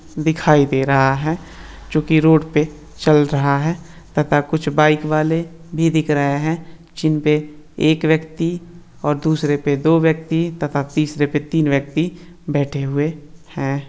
दिखाई दे रहा है जोकि रोड पर चल रहा है तथा कुछ बाइक वाले भी दिख रहे हैं। जिनपे एक व्यक्ति और दूसरे पर दो व्यक्ति तथा तीसरे पर तीन व्यक्ति बैठे हुए हैं।